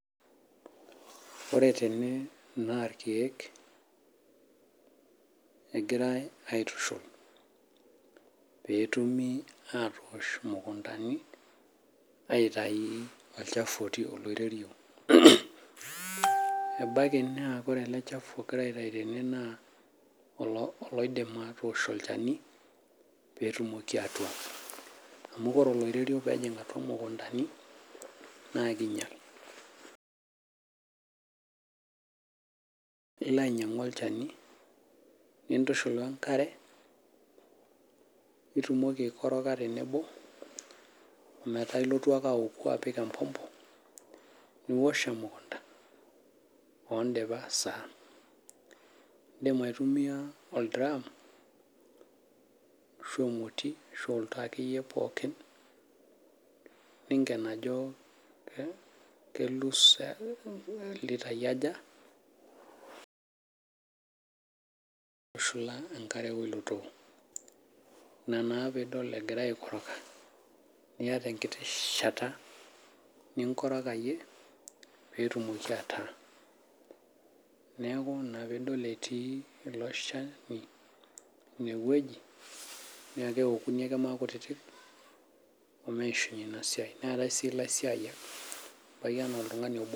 Ore tene naa irkeek egirai aitushul petumi atoosh imukuntani aitayu olchafu otii olairerio. Ebaki naa ore ele chafu ogirai aitayu tene naa oloidim atosh olchani petumoki atua. Amu ore olairerio pejing' atua mukuntani naa kinyal. Ilo ainyang'u olchani nintushul wee nkare nitumoki aii koroga tenebo omeeta illtu ake aoku apik empompo niwosh emukunta odipa saa. Idim aitumia ildiram ashu emoti ashu oltoo akeyie pookin ninken ajo kelutu sa litai aja aitushala inaare ilo too. Inaa naa pidol egira ai koroga niata enkiti shata ninkorogayie petumoki ataa. Neeku ina pidol etii iloshani ineweji neeku keokunj ake makutitik omeshunye ina siai. Neetae sii ilaisiyiak. Ebaki enaa iltung'ana obo.